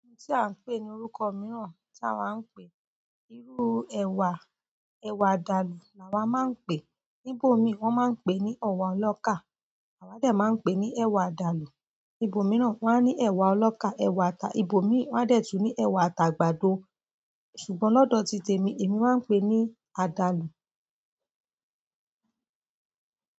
Ohun tí à ń pè ní orúkọ mìíràn tí àwa ń pè, irú ẹwà, ẹwà àdàlù làwa máa ń pè. Nibò mi wọ́n máa ń pè ní ewá ọlọ́kà, àwa dẹ̀ máa ń pè ní ẹ̀wà àdàlù. Ibo mìíràn wọ́n á ní ẹ̀wà ọlọ́kà, ẹwà ata, ibo mìíràn wọ́n a tẹ̀ tú ní ẹwà ata àgbàdo. Ṣùgbọ́n lọ́dọ̀ titẹ̀ mi, èmi máa pè é ní àdàlù.